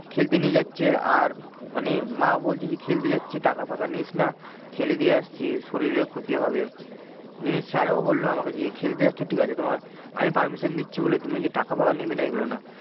খেলতে নিয়ে যাচ্ছে আর মানে মাও বলছে যে খেলতে যাচ্ছিস টাকা ফাকা নিস না খেলে দিয়ে আসছিস শরিরের ক্ষতি হবে নিয়ে sir ও বললো আমাকে যে খেলতে যাচ্ছ ঠিক আছে তোমার আমি permission দিচ্ছি বলে তুইমি যে টাকা ফাকা নেবে না এইগুলো না।